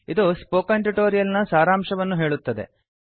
ಇದು spoken tutorial ನ ಸಾರಾಂಶವನ್ನು ಹೇಳುತ್ತದೆ